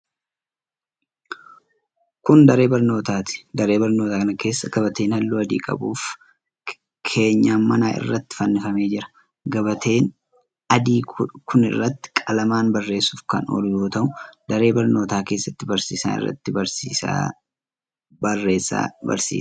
Kun, daree barnootaati. Daree barnootaa kana keessa gabateen haalluu adii qabu keenyaa manaa irratti fannifamee jira. Gabateen adii kun irratti qalamaan barreessuuf kan oolu yoo ta'u, daree barnootaa keessatti barsiisaan irratti barreessaa barsiisa.